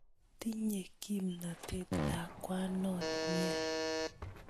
Tinye kipnotet lakwanon nia